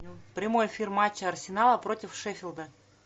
прямой эфир матча арсенала против шеффилда